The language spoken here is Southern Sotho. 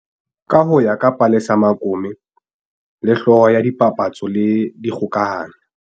Ka ho ya ka Palesa Mokome le, hlooho ya tsa dipapatso le dikgokahanyo